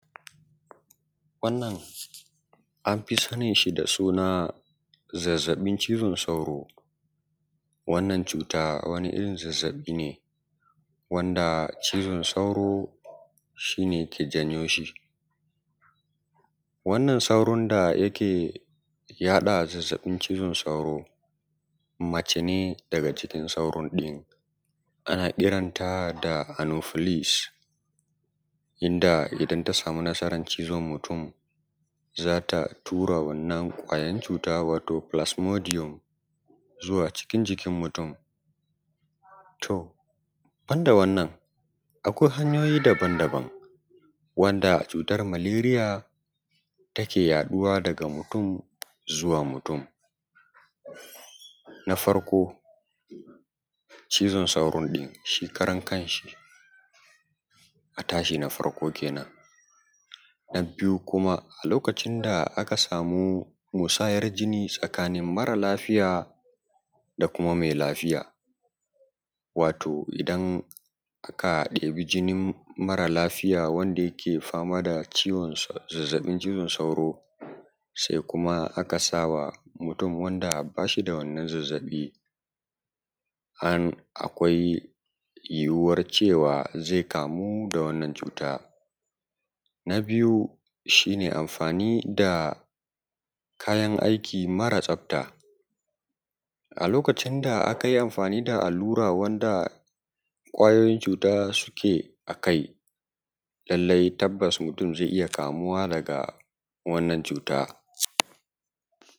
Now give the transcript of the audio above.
Wannan amfi sanin shi da suna zazzabin cizon sauro wannan cuta wani irin zazzabi ne wanda cizon sauro shi ne yake janyo shi, wannan sauro da yake yaɗa zazzabin cizon sauro mace ne daga cikin sauro ɗin, ana kiranta “anophilis” inda idan ta sami nasara cizon mutum zata tura wannan ƙwayoyin cuta wato “philasmodium” zuwa cikin jikin mutum. To banda wannan akwai hanyoyi daban daban wanda cutar “malaria” take yaɗuwa daga mutum zuwa mutum Na farko, cizon sauron ɗin shi karankan shi a tashi na farko kenan Na biyu kuma, a lokacin da aka samu musayar jini tsakanin mara lafiya da kuma mai lafiya wato idan aka ɗebi jinin mara lafiya wanda yake fama da ciwon zazzabin cizon sauro sai kuma aka sawa mutum wanda bashi da wannan zazzabi han akwai yiwuwan cewa zai kamu da wannan cuta. Na biyu, shi ne amfani da kayan aiki mara tsafta a lokacin da aka yi amfani da allura wanda ƙwayoyin cuta suke a kai lallai tabas mutum zai iya kamuwa daga wannan cuta.